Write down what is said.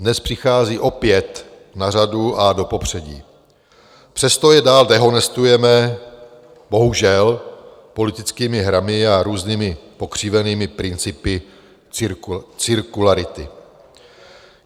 Dnes přichází opět na řadu a do popředí, přesto je dál dehonestujeme - bohužel - politickými hrami a různými pokřivenými principy cirkularity.